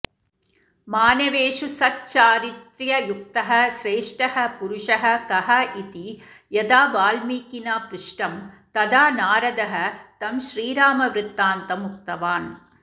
मानवेषु सच्चारित्र्ययुक्तः श्रेष्ठः पुरुषः कः इति यदा वाल्मीकिना पृष्टं तदा नारदः तं श्रीरामवृत्तान्तम् उक्तवान्